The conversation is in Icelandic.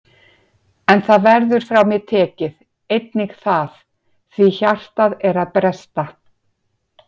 En það verður frá mér tekið, einnig það, því hjartað er að bresta.